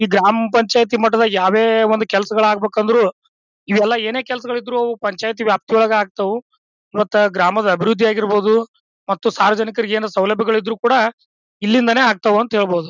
ಈ ಗ್ರಾಮ ಪಂಚಾಯಿತಿ ಮಟ್ಟದಲ್ಲಿ ಯಾವೇ ಒಂದು ಕೆಲಸಗಳು ಆಗಬೇಕೆಂದ್ರು ಈ ಎಲ್ಲ ಏನೇ ಕೆಲಸಗಳು ಇದ್ರೂ ಪಂಚಾಯಿತಿ ವ್ಯಾಪ್ತಿಯೊಳಗೆ ಆಗ್ತವು. ಮತ್ತ ಗ್ರಾಮದ ಅಭಿವೃದ್ದಿಯಾಗಿರಬಹುದು ಮತ್ತ ಸಾರ್ವಜನಿಕರಿಗೆ ಏನಾದ್ರು ಸೌಲಭ್ಯಗಳು ಇದ್ರೂ ಕೂಡ ಇಲ್ಲಿಂದಾನೆ ಆಗ್ತವೆ ಅಂತ ಹೇಳಬಹುದು.